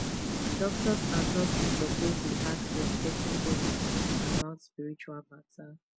doctors and nurses suppose dey ask respectful questions about spiritual matter